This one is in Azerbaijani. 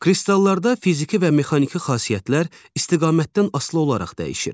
Kristallarda fiziki və mexaniki xassələr istiqamətdən asılı olaraq dəyişir.